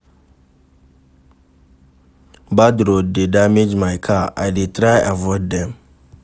Bad road dey damage my car, I dey try avoid dem.